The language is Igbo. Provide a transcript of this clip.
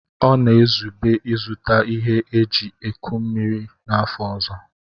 Ọ na-ezube ịzụta ihe eji eku mmiri n'afọ ọzọ.